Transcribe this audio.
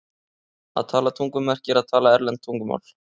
Að tala tungum merkir að tala erlend tungumál.